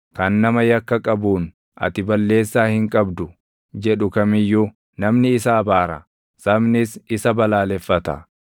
Kan nama yakka qabuun, “Ati balleessaa hin qabdu” jedhu kam iyyuu namni isa abaara; sabnis isa balaaleffata.